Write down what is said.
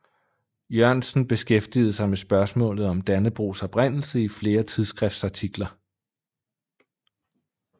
Jørgensen beskæftigede sig med spørgsmålet om Dannebrogs oprindelse i flere tidsskriftsartikler